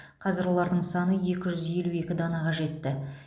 қазір олардың саны екі жүз елу екі данаға жетті